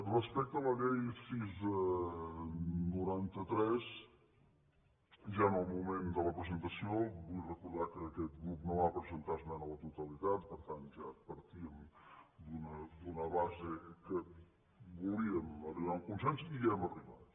respecte a la llei sis noranta tres ja en el moment de la presen·tació vull recordar que aquest grup no va presentar es·mena a la totalitat per tant ja partíem d’una base que volíem arribar a un consens i hi hem arribat